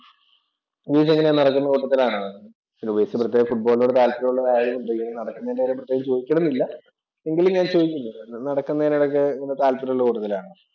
ഉപേഷ് എങ്ങയാ നടക്കുന്ന കൂട്ടത്തിൽ ആണോ? പിന്നെ ഉപേഷ് പ്രത്യേക ഫുട്ബോളിനോട് താല്പര്യം ഉള്ളതുകൊണ്ട് ഇങ്ങനെ നടക്കുന്നതിന്‍റെ കാര്യം പ്രത്യേകം ചോദിക്കണമെന്നില്ല. എങ്കിലും ഞാൻ ചോദിക്കുന്നു. നടക്കുന്നതിനോടൊക്കെ എങ്ങനെ താല്പര്യമുള്ള കൂട്ടത്തിലാണോ?